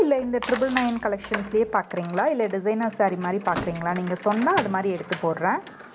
இல்லை இந்த triple nine collections லயே பாக்கறீங்களா இல்ல designer saree மாதிரி பாக்குறீங்களா நீங்க சொன்னா அது மாதிரி எடுத்து போடுறேன்